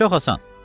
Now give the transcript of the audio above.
Çox asan.